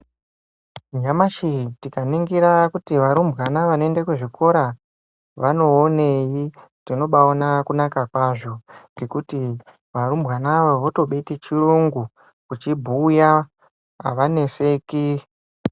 Nyamashi tikaningira kuti varumbwana vanoenda kuzvikora vanowoneyi, tinobawona kunaka kwazvo ngekuti varumbwana ava votodetichirungu kuchibhuya havaneseki.